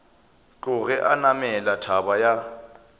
tloge a namela thaba ya